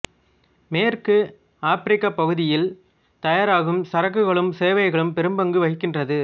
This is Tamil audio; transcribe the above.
மேற்கு ஆபிரிக்கப் பகுதியில் தயாராகும் சரக்குகளிலும் சேவைகளிலும் பெரும்பங்கு வகிக்கின்றது